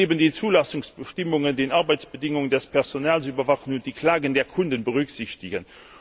Diese muss neben den Zulassungsbestimmungen die Arbeitsbedingungen des Personals überwachen und die Klagen der Kunden berücksichtigen.